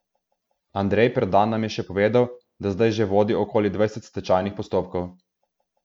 Andrej Perdan nam je še povedal, da zdaj že vodi okoli dvajset stečajnih postopkov.